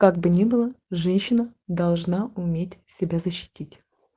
как бы ни было женщина должна уметь себя защитить